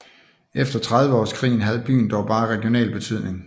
Efter Trediveårskrigen havde byen dog bare regional betydning